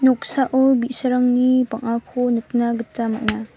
noksao bi·sarangni bang·ako nikna gita man·a.